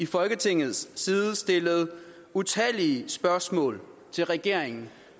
folketingets partiers side stillet utallige spørgsmål til regeringen